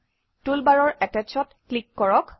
টুলবাৰৰ Attach অত click কৰক